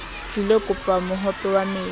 tlilo kopa mohope wa metsi